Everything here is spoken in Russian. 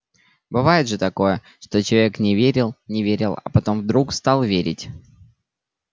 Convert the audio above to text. бывает же такое что человек не верил не верил а потом вдруг стал верить